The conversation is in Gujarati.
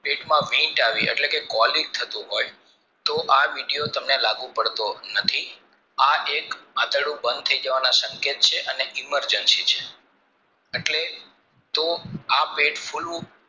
પેટમાં વીંજ આવવી એટલે કે quality થયું હોય તો આ video તમને લાગુ પડતો નથી આ એક આંતરડું બાણ થાય જવાના સંકેત છે અને emergency છે એટલે તો આ પેટ ફૂલવું